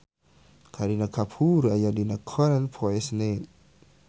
Kareena Kapoor aya dina koran poe Senen